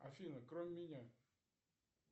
афина кроме меня